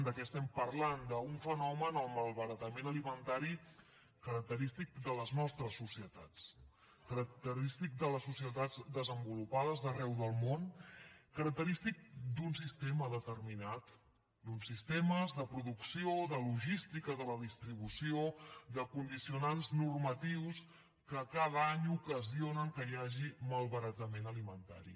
de què estem parlant d’un fenomen el malbaratament alimentari característic de les nostres societats característic de les societats desenvolupades d’arreu del món característic d’un sistema determinat d’uns sistemes de producció de logística de la distribució de condicionants normatius que cada any ocasionen que hi hagi malbaratament alimentari